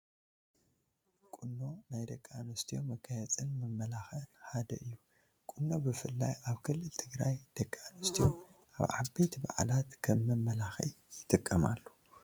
ቁኖ ናይ ደቂ ኣንስትዮ መጋየፅን መመላኽዕን ሓደ እዩ፡፡ ቁኖ ብፍላይ ኣብ ክልል ትግራይ ደቂ ኣንስትዮ ኣብ ዓበይቲ በዓላት ከም መመላኽዒ ይጥቀማሉ